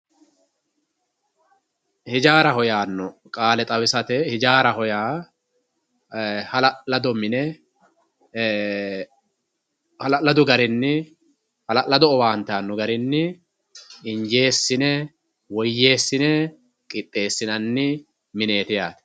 Ijaraho yano qalle xawisate ijaraho ya e halalado mine ee halaladu garinni halalado owante ano garini injesine woyesine qixesinani mineti yate